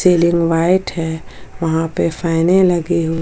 ceiling white है वहां पे फैने लगी हूंई--